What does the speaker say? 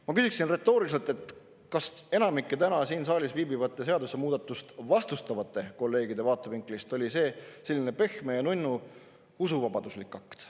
Ma küsin retooriliselt, kas enamiku täna siin saalis viibivate ja seadusemuudatust vastustavate kolleegide vaatevinklist oli see selline pehme ja nunnu usuvabaduslik akt.